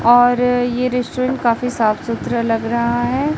और ये रेस्टोरेंट काफी साफ सुथरा लग रहा है।